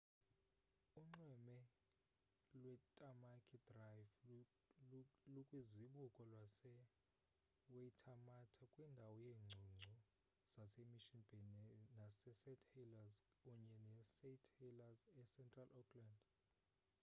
unxweme lwetamaki drive lukwizibuko lase-waitermata kwindawo yeengcungcu zase-mission bay nase-st helliers unye ne-st heliers ecentral auckland